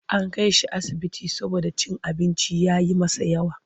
An kai shi asibiti saboda cin abinci ya yi masa yawa.